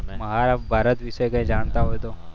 મારા ભારત વિશે કંઈ જાણતા હોય તો.